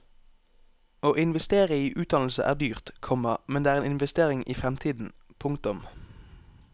Å investere i utdannelse er dyrt, komma men det er en investering i fremtiden. punktum